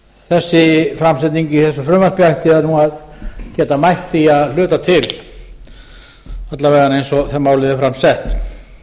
þessi framsetning í þessu frumvarpi ætti nú að geta mætt því að hluta til alla vega eins og málið er fram sett